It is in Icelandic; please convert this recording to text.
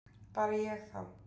Bara ég þá